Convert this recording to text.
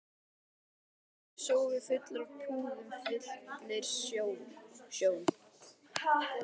Svartur sófi fullur af púðum fyllir sjón